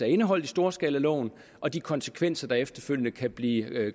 indeholdt i storskalaloven og de konsekvenser der efterfølgende kan blive